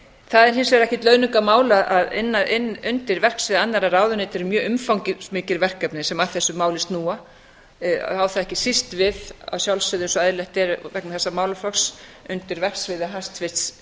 það er hins vegar ekkert launungarmál að undir verksviði annarrra ráðuneyta er mjög umfangsmikil verkefni sem að þessu máli snúa á það ekki síst við að sjálfsögðu eins og eðlilegt er vegna þessa málaflokks undir verksviði hæstvirts